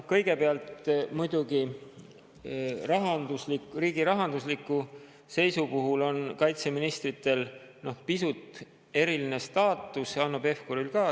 Kõigepealt, muidugi riigi rahandusliku seisu puhul on kaitseministritel pisut eriline staatus ja Hanno Pevkuril ka.